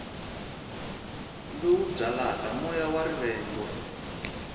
lowu byalaka moya wa rivengo